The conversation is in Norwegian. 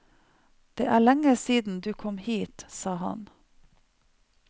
Det er lenge siden du kom hit, sa han.